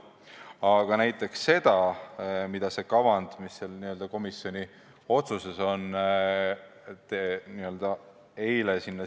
Aga näiteks seda kavandit, mis sai komisjoni otsusesse eile sisse pandud, ei arutatud.